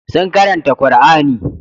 Sun karanta Qur'ani.